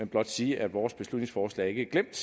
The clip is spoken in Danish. blot sige at vores beslutningsforslag ikke er glemt